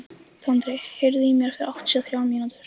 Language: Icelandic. Tandri, heyrðu í mér eftir áttatíu og þrjár mínútur.